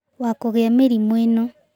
Wa kũgĩa mĩrimũ ĩno